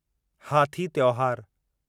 हाथी त्योहार